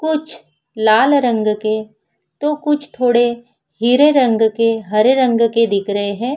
कुछ लाल रंग के तो कुछ थोड़े हीरे रंग के हरे रंग के दिख रहे है।